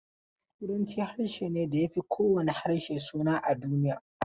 Turanci harshe ne da ya fi kowane harshe suna a duniya.